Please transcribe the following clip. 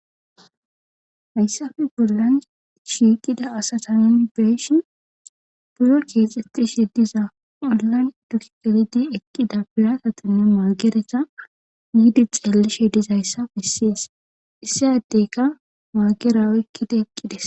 Hayssappe bollan shiiqida asatan beyishin biro keexetish diza olan duge gelidi eqqida biratatine maagereta miidi xeellishe diza issappe besses. Issi addeyka maagara ekkida eqqi des.